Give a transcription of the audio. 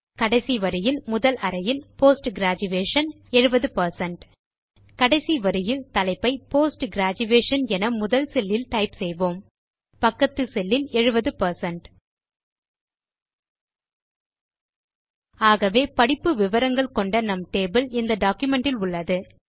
கடைசி வரியில் முதல் அறையில் போஸ்ட் கிரேஜுயேஷன் 70 கடைசி வரியில் தலைப்பை போஸ்ட் கிரேஜுயேஷன் என முதல் செல் இல் டைப் செய்வோம் பக்கத்து செல் இல் 70 பெர்சென்ட் ஆகவே படிப்பு விவரங்கள் கொண்ட நம் டேபிள் இந்த டாக்குமென்ட் இல் உள்ளது